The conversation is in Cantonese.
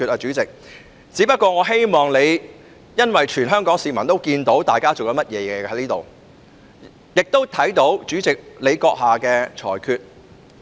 主席，我只不過是希望你......因為全港市民均看到大家正在這裏做甚麼，亦看到主席閣下的裁決。